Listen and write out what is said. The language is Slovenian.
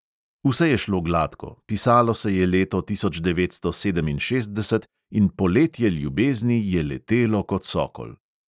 Vse je šlo gladko: pisalo se je leto tisoč devetsto sedeminšestdeset in poletje ljubezni je letelo kot sokol.